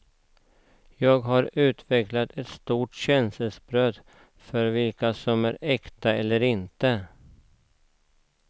Jag har utvecklat ett sorts känselspröt för vilka som är äkta och inte.